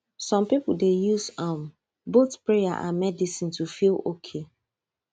some people dey use um both prayer and medicine to feel okay